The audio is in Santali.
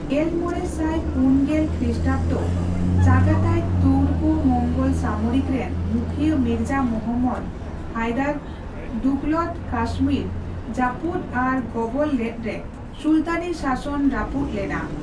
ᱜᱮᱞᱢᱚᱲᱮ ᱥᱟᱭ ᱯᱩᱱ ᱜᱮᱞ ᱠᱷᱤᱥᱴᱟᱵᱽᱫᱚ ᱪᱟᱜᱟᱛᱟᱭ ᱛᱩᱨᱠᱳᱼᱢᱚᱝᱜᱳᱞ ᱥᱟᱢᱚᱨᱤᱠ ᱨᱮᱱ ᱢᱩᱠᱷᱤᱭᱟᱹ ᱢᱤᱨᱡᱟ ᱢᱩᱦᱚᱢᱢᱚᱫᱽ ᱦᱟᱭᱫᱟᱨ ᱫᱩᱜᱷᱞᱚᱛ ᱠᱟᱥᱢᱤᱨ ᱡᱟᱯᱩᱫ ᱟᱨ ᱜᱚᱵᱚᱞ ᱞᱮᱫ ᱨᱮ ᱥᱩᱞᱛᱟᱱᱤ ᱥᱟᱥᱚᱱ ᱨᱟᱯᱩᱫ ᱞᱮᱱᱟ ᱾